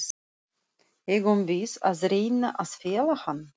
Eigum við að reyna að fela hann?